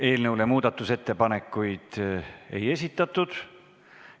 Eelnõule muudatusettepanekuid ei esitatud.